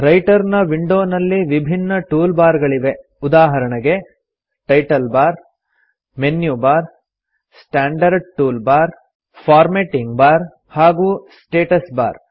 writer ನ ವಿಂಡೋನಲ್ಲಿ ವಿಭಿನ್ನ ಟೂಲ್ ಬಾರ್ ಗಳಿವೆ ಉದಾಹರಣೆಗೆ title bar menu bar standard tool bar formatting bar ಹಾಗೂ ಸ್ಟಾಟಸ್ ಬಾರ್